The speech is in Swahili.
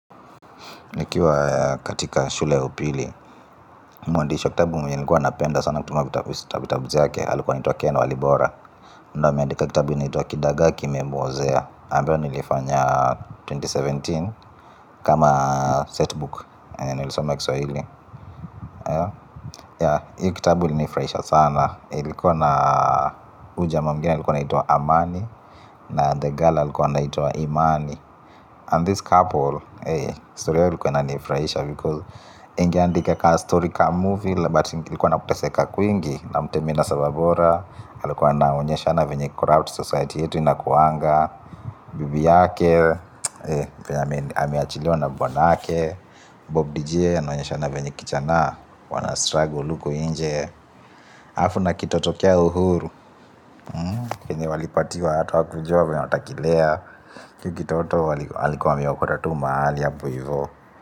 Nikiwa katika shule ya upili mwandishi wa kitabu mwenye nikua napenda sana kutumia kitabu zake. Alikuwa anaitwa Ken Walibora. Na ameandika kitabu inaitwa Kidagaa kimemuozea ambayo nilifanya elfu mbili na kumi na saba. Kama setbook nilisoma kiswahili. Ya hii kitabu ilinifurahisha sana. Ilikuwa na huu jamaa mwigine alikuwa anaitwa Amani. Na the girl ilikuwa nituwa Imani And this couple Hey, story ilikuwa nifraisha because ingiandika kaa storica movie but likuwa naputeseka kuingi na mtemina sababora alikuwa na onyesha na venye corrupt society yetu inakuanga bibi yake ameachiliwa na buwanake bob dj ya naonyesha na venye kijana wana struggle luku inje afu na kitoto kio huru kini walipatiwa hatu wakujuwa wakutakilea iki kitoto alikuwa ameokota tu mahali apo hivu.